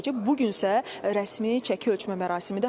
Bu gün isə rəsmi çəki ölçmə mərasimidir.